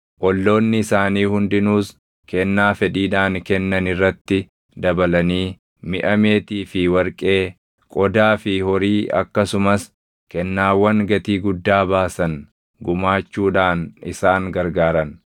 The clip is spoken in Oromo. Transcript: Olloonni isaanii hundinuus kennaa fedhiidhaan kennan irratti dabalanii miʼa meetii fi warqee, qodaa fi horii akkasumas kennaawwan gatii guddaa baasan gumaachuudhaan isaan gargaaran.